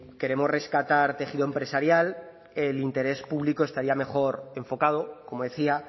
queremos rescatar tejido empresarial el interés público estaría mejor enfocado como decía